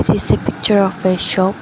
This is a picture of a shop.